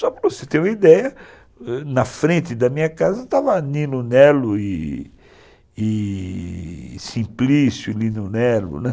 Só para você ter uma ideia, na frente da minha casa estava Nino Nelo e Simplício, Nino Nelo, né